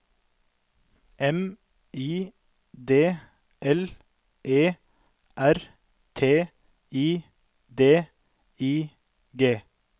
M I D L E R T I D I G